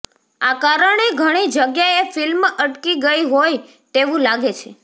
આ કારણે ઘણી જગ્યાએ ફિલ્મ અટકી ગઈ હોય તેવુ લાગે છે